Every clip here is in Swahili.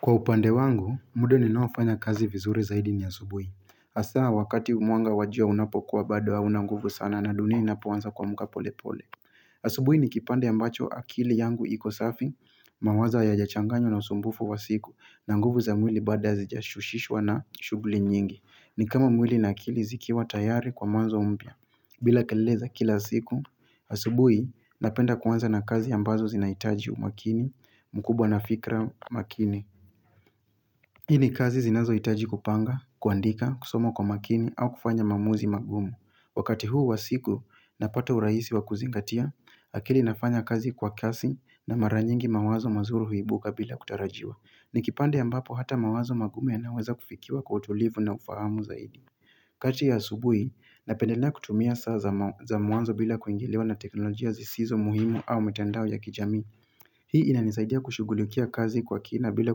Kwa upande wangu, muda ninaofanya kazi vizuri zaidi ni asubui. Asa wakati mwanga wajua unapokuwa bado aunanguvu sana na dunia inapoanza kuamka pole pole. Asubui ni kipande ambacho akili yangu iko safi, mawazo hayaja changanywa na usumbufu wa siku na nguvu za mwili bado hazija husishwa na shuhuli nyingi. Ni kama mwili na akili zikiwa tayari kwa mwanzo mpya. Bila kelele za kila siku, asubui napenda kuanza na kazi ambazo zinaitaji umakini, mkubwa na fikra makini. Hii nikazi zinazo hitaji kupanga, kuandika, kusomo kwa makini au kufanya maamuzi magumu. Wakati huu wasiku na pata urahisi wa kuzingatia, akili inafanya kazi kwa kasi na maranyingi mawazo mazuri huibuka bila kutarajiwa. Ni kipande ambapo hata mawazo magumu yanaweza kufikiwa kwa utulivu na ufahamu zaidi. Kati ya subuhi, napendelea kutumia saa za mwanzo bila kuingiliwa na teknolojia zisizo muhimu au mitandao ya kijami. Hii ina nisaidia kushugulikia kazi kwa kina bila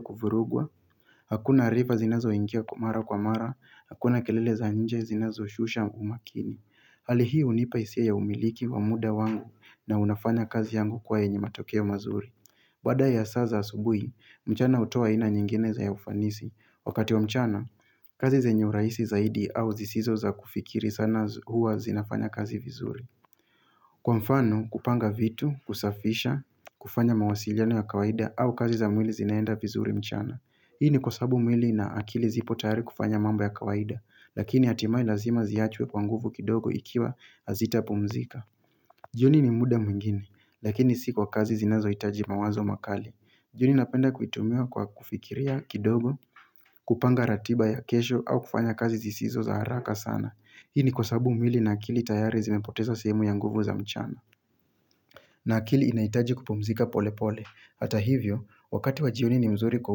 kuvurugwa, hakuna rifa zinazo ingia mara kwa mara, hakuna kelele za nje zinazo shusha umakini. Hali hii unipa hisia ya umiliki wa muda wangu na unafanya kazi yangu kuwa yenye matokeo mazuri. Baada ya saa za asubui, mchana utoa aina nyingine zenye ufanisi. Wakati wa mchana, kazi zenye uraisi zaidi au zisizo za kufikiri sana huwa zinafanya kazi vizuri. Kwa mfano kupanga vitu, kusafisha, kufanya mawasiliano ya kawaida au kazi za mwili zinaenda vizuri mchana Hii ni kwa sababuu mwili na akili zipo tayari kufanya mambo ya kawaida Lakini hatimae lazima ziachwe kwa nguvu kidogo ikiwa hazita pumzika jioni ni muda mwingine, lakini si kwa kazi zinazo itaji mawazo makali jioni napenda kuitumia kwa kufikiria kidogo, kupanga ratiba ya kesho au kufanya kazi zisizo za haraka sana Hii ni kwa sababu mwili na akili tayari zimepoteza sehemu ya nguvu za mchana. Na akili inaitaji kupumzika pole pole. Hata hivyo, wakati wajioni ni mzuri kwa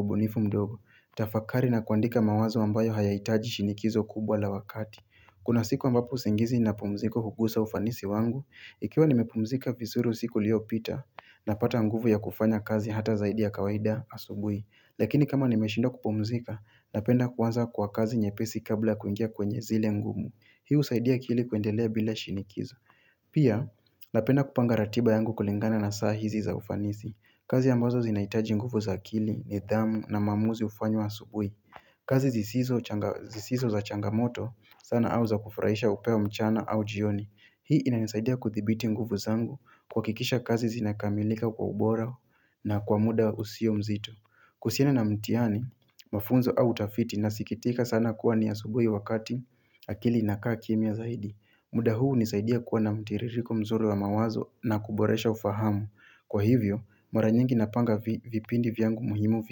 ubunifu mdogo. Tafakari na kuandika mawazo ambayo haya itaji shinikizo kubwa la wakati. Kuna siku ambapo usingizi na pumziko hugusa ufanisi wangu, ikiwa nimepumzika vizuri usiku ulio pita napata nguvu ya kufanya kazi hata zaidi ya kawaida asubui. Lakini kama nimeshinda kupumzika, napenda kuanza kwa kazi nyepesi kabla kuingia kwenye zile ngumu. Hii usaidia kili kuendelea bila shinikizo Pia, napenda kupanga ratiba yangu kulingana na saa hizi za ufanisi kazi ambazo zinaitaji nguvu za akili, nidhamu na maamuzi ufanywa asubui kazi zisizo za changamoto, sana auza kufraisha upewa mchana au jioni Hii ina nisaidia kuthibiti nguvu zangu kuwa akikisha kazi zinakamilika kwa ubora na kwa muda usio mzito kuhusiana na mtihani, mafunzo au utafiti na sikitika sana kuwa ni asubui wakati akili ina kaa kimymia zaidi. Muda huu unisaidia kuwa na mtiririko mzuri wa mawazo na kuboresha ufahamu. Kwa hivyo, maranyingi napanga vipindi vyangu muhimu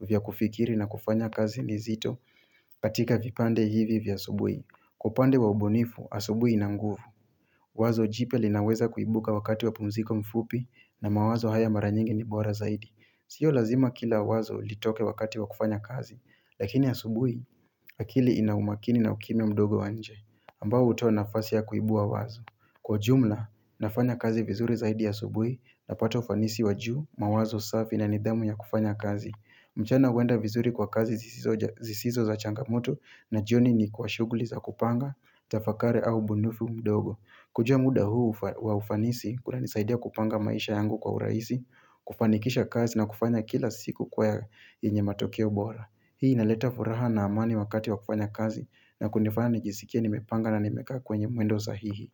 vya kufikiri na kufanya kazi nzito katika vipande hivi vya asubui. Kwa upande wa ubunifu, asubui inanguvu. Wazo jipya linaweza kuibuka wakati wa pumziko fupi na mawazo haya maranyingi nibora zaidi. Sio lazima kila wazo litoke wakati wakufanya kazi, lakini asubuhi, akili inaumakini na ukimya mdogo wa njee, ambao uto nafasi ya kuibua wazo. Kwa jumla, nafanya kazi vizuri zaidi a subuhi na pata ufanisi wajuu, mawazo safi na nidhamu ya kufanya kazi. Mchana huenda vizuri kwa kazi zisizo za changamoto na jioni ni kwa shuguli za kupanga, tafakari au ubunifu mdogo. Kujua muda huu wa ufanisi kuna nisaidia kupanga maisha yangu kwa uraisi, kufanikisha kazi na kufanya kila siku kuwa ya yenye matokeo bora. Hii ina leta furaha na amani wakati wa kufanya kazi na kunifanya nijisikia nimepanga na nimekaa kwenye mwendo sahihi.